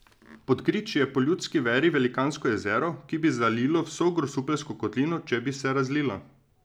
Pod griči je po ljudski veri velikansko jezero, ki bi zalilo vso Grosupeljsko kotlino, če bi se razlilo.